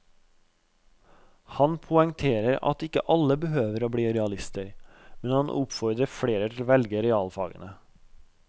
Han poengterer at ikke alle behøver å bli realister, men han oppfordrer flere til å velge realfagene.